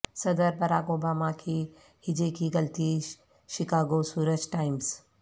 صدر Barack Obama کی ہجے کی غلطی شکاگو سورج ٹائمز